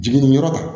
Jiginniniyɔrɔ